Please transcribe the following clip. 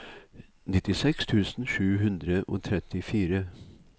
nittiseks tusen sju hundre og trettifire